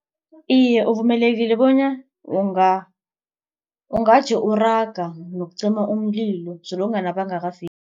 Iye, uvumelekile bona ungaje uraga nokucima umlilo solonkana bangakafiki.